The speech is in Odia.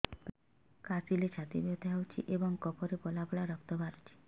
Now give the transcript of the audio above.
କାଶିଲେ ଛାତି ବଥା ହେଉଛି ଏବଂ କଫରେ ପଳା ପଳା ରକ୍ତ ବାହାରୁଚି